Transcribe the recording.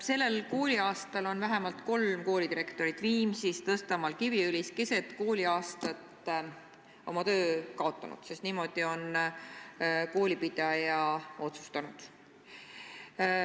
Sellel kooliaastal on vähemalt kolm koolidirektorit keset kooliaastat oma töö kaotanud, sest niimoodi on koolipidaja otsustanud.